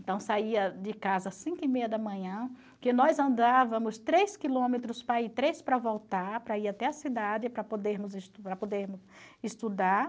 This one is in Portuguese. Então, saía de casa às cinco e meia da manhã, porque nós andávamos três quilômetros para ir, três para voltar, para ir até a cidade, para podermos es para poder estudar.